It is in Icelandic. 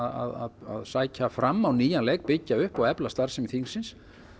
að sækja fram á nýjan leik byggja upp og efla starfsemi þingsins